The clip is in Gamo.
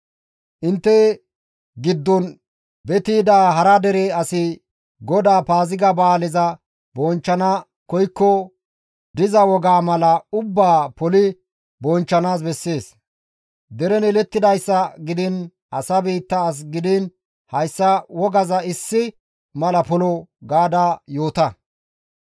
« ‹Intte giddon beti yida hara dere asi GODAA Paaziga ba7aaleza bonchchana koykko diza wogaa mala ubbaa poli bonchchanaas bessees; deren yelettidayssa gidiin asa biitta as gidiin hayssa wogaza issi mala polo› gaada yoota.»